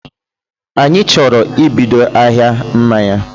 Anyị chọrọ ibido ahịa mmanya